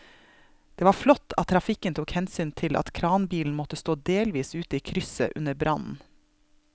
Det var flott at trafikken tok hensyn til at kranbilen måtte stå delvis ute i krysset under brannen.